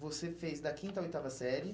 Você fez da quinta à oitava série.